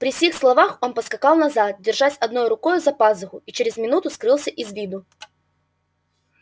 при сих словах он поскакал назад держась одной рукою за пазуху и через минуту скрылся из виду